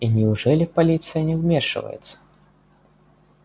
и неужели полиция не вмешивается